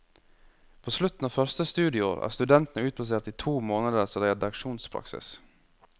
På slutten av første studieår er studentene utplassert i to måneders redaksjonspraksis.